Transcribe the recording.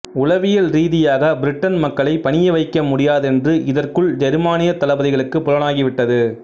உளவியல் ரீதியாக பிரிட்டன் மக்களைப் பணிய வைக்க முடியாதென்று இதற்குள் ஜெர்மானியத் தளபதிகளுக்குப் புலனாகி விட்டது